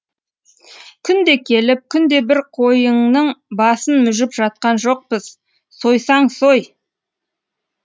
күнде келіп күнде бір қойыңның басын мүжіп жатқан жоқпыз сойсаң сой